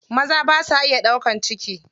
Maza basa iya ɗaukan ciki.